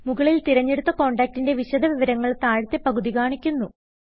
മുകളിൽ തിരഞ്ഞെടുത്ത കോണ്ടാക്റ്റിന്റെ വിശദ വിവരങ്ങൾ താഴത്തെ പകുതി കാണിക്കുന്നു